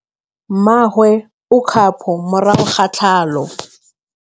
Mmagwe o kgapô morago ga tlhalô.